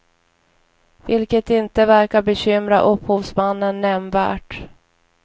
Vilket inte verkar bekymra upphovsmannen nämnvärt.